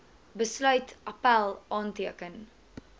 besluit appèl aanteken